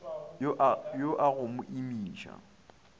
yo a go mo imiša